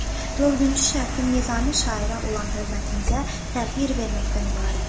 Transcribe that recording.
Dördüncü şərtim: Nizami şairə olan hörmətinizə təhqir verməkdən ibarətdir.